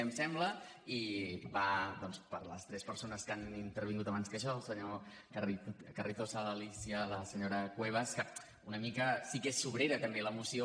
em sembla i va per a les tres persones que han intervingut abans que jo el senyor carrizosa l’alícia i la senyora cuevas que una mica sí que és sobrera també la moció